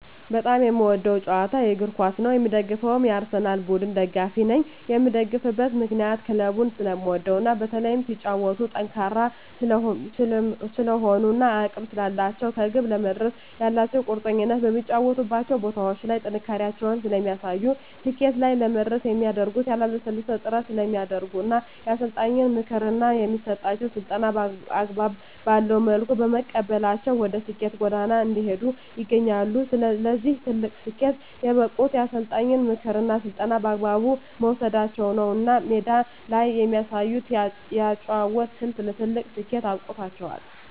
በጣም የምወደዉ ጨዋታ እግርኳስ ነዉ የምደግፈዉም የአርሰላን ቡድን ደጋፊ ነኝ የምደግፍበት ምክንያት ክለቡን ስለምወደዉ እና በተለይም ሲጫወቱም ጠንካራ ስለሆኑ እና አቅም ስላላቸዉ ከግብ ለመድረስ ያላቸዉ ቁርጠኝነት በሚጫወቱባቸዉ ቦታዎች ላይ ጥንካሬያቸውን ስለሚያሳዩ ስኬት ላይ ለመድረስ የሚያደርጉት ያላለሰለሰ ጥረት ስለሚያደርጉ እና የአሰልጣኛቸዉን ምክር እና የሚሰጣቸዉን ስልጠና አግባብ ባለዉ መልኩ በመቀበላቸዉ ወደ ስኬት ጎዳና እየሄዱ ይገኛሉ ለዚህ ትልቅ ስኬት የበቁት የአሰልጣኝን ምክርና ስልጠና በአግባቡ መዉሰዳቸዉ ነዉ እና ሜዳ ላይ የሚያሳዩት የአጨዋወት ስልት ለትልቅ ስኬት አብቅቷቸዋል